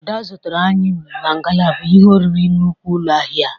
Ada zụtara ayịm na ngalaba ihe oriri nnukwu ụlọ ahia a.